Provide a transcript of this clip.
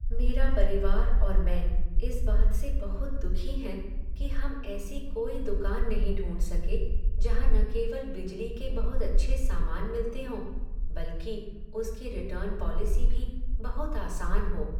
मेरा परिवार और मैं इस बात से बहुत दुखी हैं कि हम ऐसा कोई दुकान नहीं ढूंढ सके जहाँ न केवल बिजली के बहुत अच्छे सामान मिलते हों बल्कि उसकी रिटर्न पॉलिसी भी बहुत आसान हो।